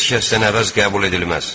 Heç kəsdən əvəz qəbul edilməz.